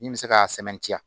Min bɛ se ka sɛmɛntiya